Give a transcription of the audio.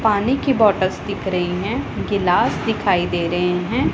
पानी की बाटस दिख रही हैं गिलास दिखाई दे रहे हैं।